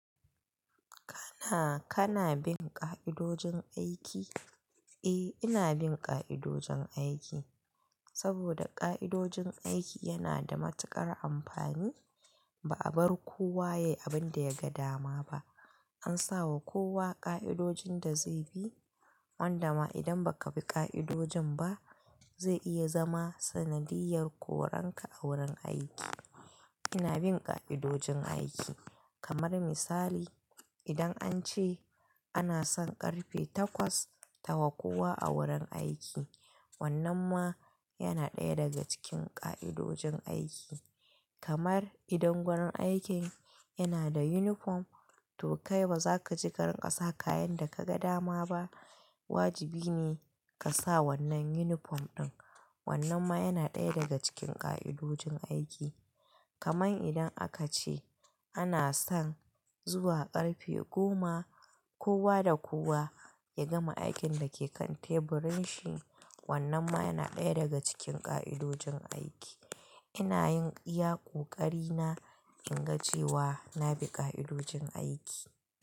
Kana, kana bin ƙa'idojin aiki? Eh, ina bin ƙa'idojin aiki. Saboda ƙa'idojin aiki yana da matuƙar amfani. Ba a bar kowa yayi abin da ya ga dama ba. An sawa kowa ƙa'idojin da zai bi. Wanda ma idan ba ka bi ƙa'idojin ba, zai iya zama sanadiyyar koranka a wurin aiki. Ina bin ƙa'idojin aiki. Kamar misali, idan an ce ana son ƙarfe takwas tawa kowa a wurin aiki, wannan ma yana ɗaya daga cikin ƙa'idojin aiki. Kamar idan wurin aikin yana da uniform, to kai ba za ka ci ƙarƙasa kayan da ka ga dama ba. Wajibi ne ka sa wannan uniform ɗin. Wannan ma yana ɗaya daga cikin ƙa'idojin aiki. Kamar idan aka ce ana son zuwa ƙarfe goma kowa da kowa ya gama aikin da ke kan teburin shi. Wannan ma yana ɗaya daga cikin ƙa'idojin aiki. Ina yin iya koƙari na in ga cewa na bi ƙa'idojin aiki.